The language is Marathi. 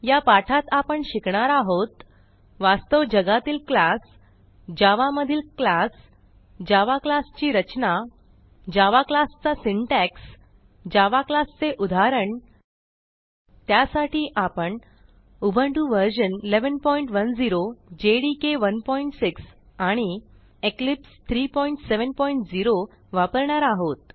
या पाठात आपण शिकणार आहोत वास्तव जगातील क्लास जावा मधील क्लास जावा क्लास ची रचना जावा क्लास चा सिंटॅक्स जावा क्लास चे उदाहरण त्यासाठी आपण उबुंटू व्हर्शन 1110 जेडीके 16 आणि इक्लिप्स 370 वापरणार आहोत